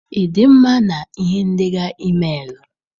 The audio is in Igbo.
Ị dị mma na ihe ndeghar emailuu?